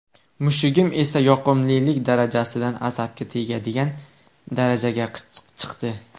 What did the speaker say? Mushugim esa yoqimlilik darajasidan asabga tegadigan darajaga chiqdi”.